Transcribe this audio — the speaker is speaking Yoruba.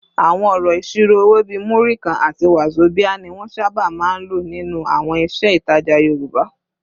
Àwọn ọ̀rọ̀ ìṣirò owó bíi “Múrí kan” àti “wàzobíà” ni wọ́n sábà máa ń lò nínú àwọn iṣẹ́ ìtajà Yorùbá